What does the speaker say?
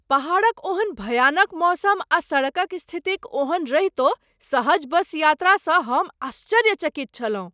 पहाड़क ओहन भयानक मौसम आ सड़कक स्थिति क ओहन रहितो सहज बस यात्रा स हम आश्चर्यचकित छलहुँ ।